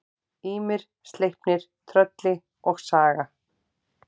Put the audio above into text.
Ýmir, Sleipnir, Trölli og Saga.